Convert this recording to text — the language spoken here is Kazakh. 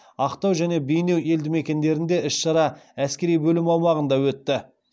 ақтау және бейнеу елдімекендерінде іс шара әскери бөлім аумағында өтті